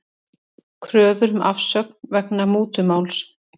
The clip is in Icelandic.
Kröfur um afsögn vegna mútumáls